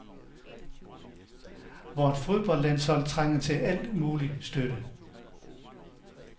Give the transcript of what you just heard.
Vort fodboldlandshold trænger til al mulig støtte .